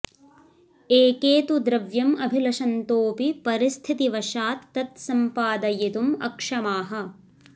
एके तु द्रव्यम् अभिलषन्तोऽपि परिस्थितिवशात् तत् संपादयितुम् अक्षमाः